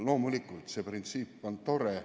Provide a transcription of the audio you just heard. Loomulikult, see printsiip on tore.